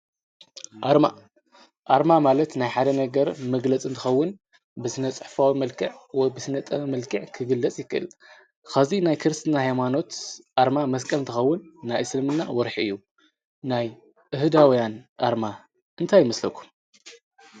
ኣርማ ማለት ናይ ሓደ ነገር መግለጽንትኸውን ብስነጽሕፍዊ መልከዕ ወ ብስነጠ መልክዕ ክግለጽ ይኽል ኸዚ ናይ ክርስትና ሕማኖት ኣርማ መስቀንትኸውን ናይ እስልምና ወርኂ እዩ ናይ እህዳውያን ኣርማ እንታይ ይመስለኩ